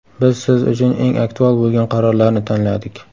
Biz siz uchun eng aktual bo‘lgan qarorlarni tanladik.